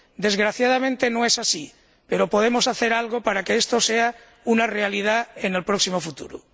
Desgraciadamente no es así, pero podemos hacer algo para que esto sea una realidad en el próximo futuro.